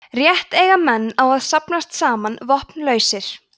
rétt eiga menn á að safnast saman vopnlausir